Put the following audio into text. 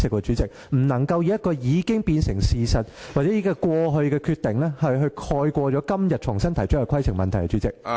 主席，你不能以一個既成的事實或過去的決定，蓋過今天重新提出的規程問題。